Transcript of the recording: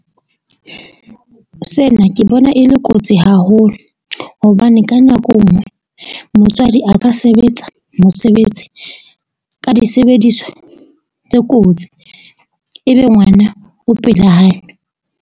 Sena ke bona e le kotsi haholo, hobane ka nako e nngwe motswadi a ka sebetsa mosebetsi ka disebediswa tse kotsi. Ebe ngwana o pela hae.